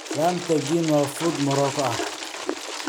Lamb tagine waa fuud Morocco ah.